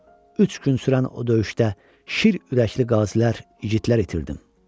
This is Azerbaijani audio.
Üç gün sürən o döyüşdə şir ürəkli qazilər, igidlər itirdim.